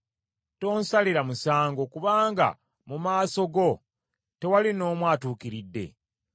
Tonsalira musango, kubanga mu maaso go tewali n’omu atuukiridde.